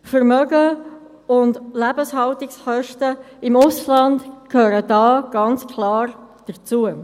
Vermögen und Lebenshaltungskosten im Ausland gehören da ganz klar dazu.